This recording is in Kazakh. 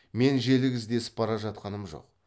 мен желік іздесіп бара жатқаным жоқ